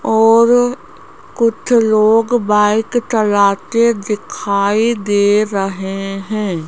और कुछ लोग बाइक चलाते दिखाई दे रहे हैं।